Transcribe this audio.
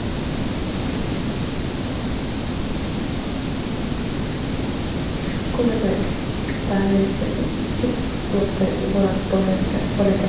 Ko‘rgazma ekspozitsiyasi ikki blokdan iborat bo‘ladi.